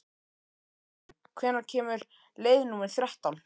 Gissunn, hvenær kemur leið númer þrettán?